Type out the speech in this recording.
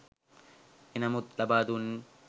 එනමුත් ලබා දුන්